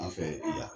An fɛ yen bi yan